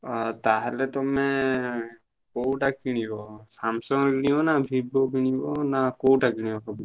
ଆଉ ତାହେଲେ ତୁମେ କୋଉଟା କିଣିବ Samsung କିଣିବ ନା Vivo କିଣିବ ନା କୋଉଟା କିଣିବ ଭାବୁଛ?